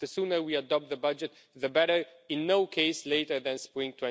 The sooner we adopt the budget, the better, but in any case no later than spring